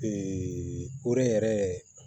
koori yɛrɛ